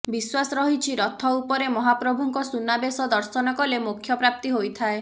ବିଶ୍ୱାସ ରହିଛି ରଥ ଉପରେ ମହାପ୍ରଭୁଙ୍କ ସୁନାବେଶ ଦର୍ଶନ କଲେ ମୋକ୍ଷ ପ୍ରାପ୍ତି ହୋଇଥାଏ